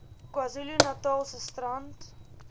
kwazulu natalse strand